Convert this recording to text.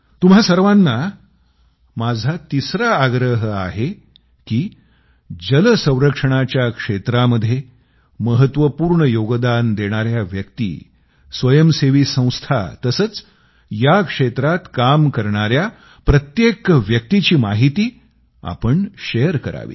तुम्हा सर्वांना माझा तिसरा आग्रह आहे की जल संरक्षणाच्या क्षेत्रामध्ये महत्वपूर्ण योगदान देणाऱ्या व्यक्ती स्वयंसेवी संस्था तसंच या क्षेत्रात काम करणाऱ्या प्रत्येक व्यक्तीची माहिती आपण शेअर करावी